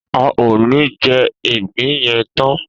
A ò ní je̩ ìgbín ye̩n tan